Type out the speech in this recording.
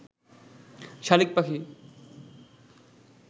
শালিক পাখি